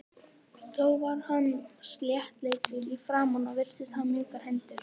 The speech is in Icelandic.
Þó var hann sléttleitur í framan og virtist hafa mjúkar hendur.